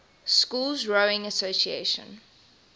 schools rowing association